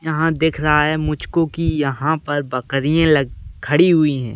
यहाँ दिख रहा है मुझको कि यहाँ पर बकरियाँ लग खड़ी हुई हैं।